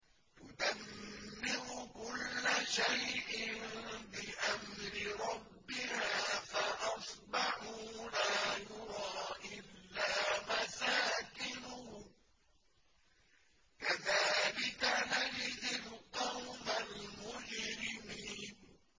تُدَمِّرُ كُلَّ شَيْءٍ بِأَمْرِ رَبِّهَا فَأَصْبَحُوا لَا يُرَىٰ إِلَّا مَسَاكِنُهُمْ ۚ كَذَٰلِكَ نَجْزِي الْقَوْمَ الْمُجْرِمِينَ